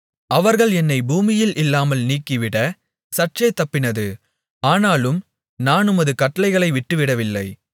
அவர்கள் என்னைப் பூமியில் இல்லாமல் நீக்கிவிடச் சற்றே தப்பினது ஆனாலும் நான் உமது கட்டளைகளை விட்டுவிடவில்லை